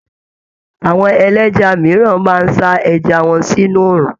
Àwọn ẹlẹ́ja mìíràn máa ń sa ẹja wọn sínú oòrùn.